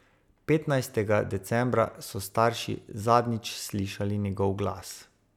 Petnajstega decembra so starši zadnjič slišali njegov glas.